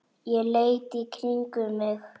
Ég leit í kringum mig.